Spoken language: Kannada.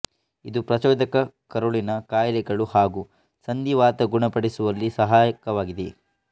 ಇದು ಪ್ರಚೋದಕ ಕರುಳಿನ ಕಾಯಿಲೆಗಳು ಹಾಗು ಸಂಧಿವಾತ ಗುಣಪಡಿಸುವಲ್ಲಿ ಸಹಾಯಕವಾಗಿದೆ